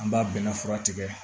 An b'a bɛnɛ fura tigɛ